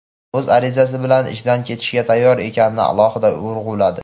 o‘z arizasi bilan ishdan ketishga tayyor ekanini alohida urg‘uladi.